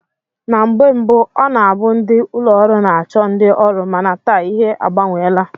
Na mgbe mbụ ọ na-abụ ndị ụlọọrụ na-achọ ndị ọrụ mana taa ihe agbanweela